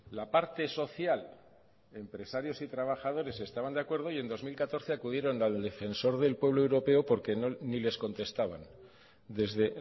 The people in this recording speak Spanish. la parte social empresarios y trabajadores estaban de acuerdo y en dos mil catorce acudieron al defensor del pueblo europeo porque ni les contestaban desde